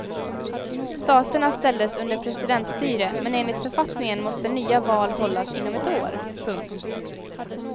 Staterna ställdes under presidentstyre men enligt författningen måste nya val hållas inom ett år. punkt